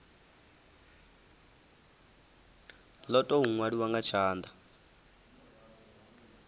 lo tou nwaliwaho nga tshanda